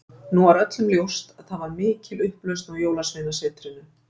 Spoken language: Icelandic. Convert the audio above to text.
Nú var öllum ljóst að það var mikil upplausn á jólasveinasetrinu.